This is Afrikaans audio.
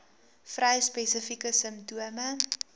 vrou spesifieke simptome